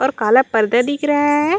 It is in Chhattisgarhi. और काला पर्दा दिख रहा है।